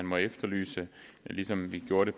må efterlyse ligesom vi gjorde det